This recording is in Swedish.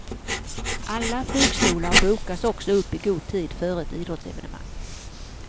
Alla flygstolar bokas också upp i god tid före ett idrottsevenemang.